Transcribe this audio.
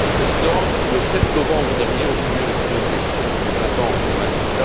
Madame la Présidente, le 7 novembre dernier ont eu lieu les premières élections depuis 20 ans en Birmanie.